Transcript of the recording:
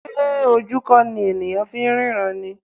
Ṣé ojú kò ní ènìyàn fi ń ríran ni?